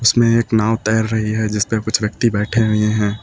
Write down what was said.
इसमें एक नाव तैर रही है जिस पे कुछ व्यक्ति बैठे हुए हैं।